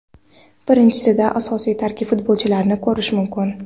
Birinchisida asosiy tarkib futbolchilarini ko‘rish mumkin.